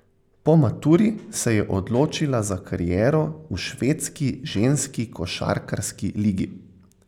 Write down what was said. Po maturi se je odločila za kariero v švedski ženski košarkarski ligi.